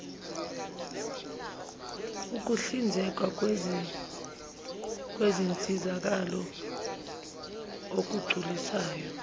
ukuhlinzekwa kwezinsizakalo okugculisayo